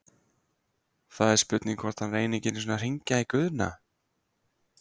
Það er spurning hvort að hann reyni ekki einu sinni enn að hringja í Guðna?????